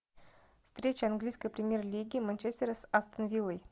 встреча английской премьер лиги манчестера с астон виллой